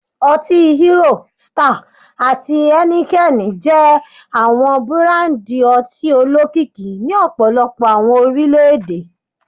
Oti Hero, Star, ati Heineken jẹ awọn burandi ọti olokiki ni ọpọlọpọ awọn orilẹ-ede